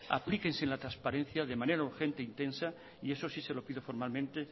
aplíquese en la transparencia de manera urgente intensa y eso sí se lo pido formalmente